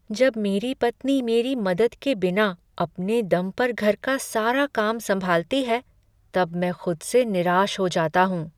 जब मेरी पत्नी मेरी मदद के बिना अपने दम पर घर का सारा काम संभालती है तब मैं खुद से निराश हो जाता हूँ ।